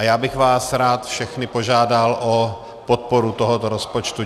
A já bych vás rád všechny požádal o podporu tohoto rozpočtu.